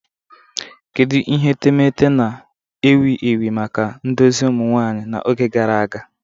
Kedu ihe etemeete na-ewu ewu maka ndozi ụmụ nwanyị n'oge gara aga?